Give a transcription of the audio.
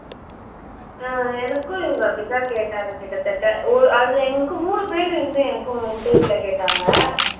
அஹ் எனக்கும் இவங்க அப்படித்தான் கேட்டாங்க கிட்டத்தட்ட ஒ அதுல எங்களுக்கு மூணு பேரு இருந்து எனக்கும் interview ல கேட்டாங்க